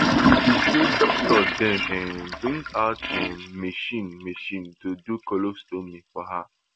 she say doctors den um bring out um machine machine to do colostomy for her